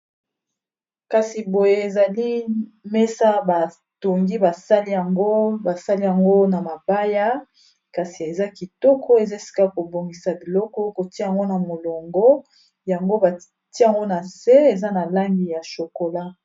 kasi boye ezali mesa batongi basali yango basali yango na mabaya kasi eza kitoko eza esika kobongisa biloko kotia yango na molongo yango batia yango na se eza na langi ya shokola